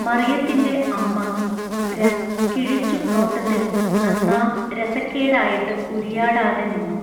മറിയത്തിന്റെ അമ്മ രം കിഴിച്ചു നോട്ടത്തിൽ നന്നാ രസക്കേടായിട്ട് ഉരിയാടാതെനിന്നു.